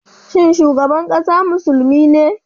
Shin shugaban kasa musulmi ne?